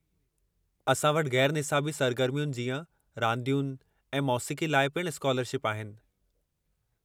असां वटि गै़रु निसाबी सरगर्मियुनि जीअं रांदियुनि ऐं मोसीक़ी लाइ पिणु स्कालरशिप आहिनि।